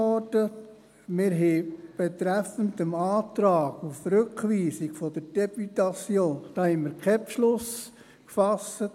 Wir haben betreffend den Antrag auf Rückweisung der Députation keinen Beschluss gefasst.